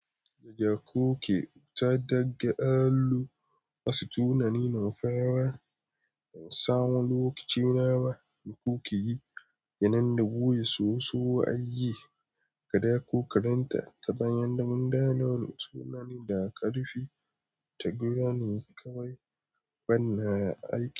Gaja koke ta dagga allo wasu tunani nufawa ban sa wa lokaci nama da kuke yi yananda buya soso ayi kada ku karanta ta bayan da munda launin sunani da karfi tagu rani kawai bana aiki.